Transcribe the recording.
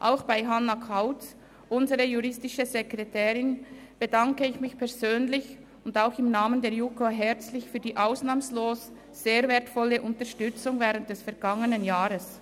Auch bei Hannah Kauz, unserer juristischen Sekretärin, bedanke ich mich persönlich und im Namen der JuKo herzlich für die ausnahmslos sehr wertvolle Unterstützung während des vergangenen Jahres.